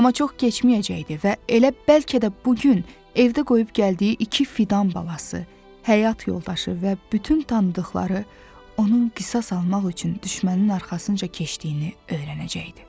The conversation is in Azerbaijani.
Amma çox keçməyəcəkdi və elə bəlkə də bu gün evdə qoyub gəldiyi iki fidan balası, həyat yoldaşı və bütün tanıdıqları onun qisas almaq üçün düşmənin arxasınca keçdiyini öyrənəcəkdi.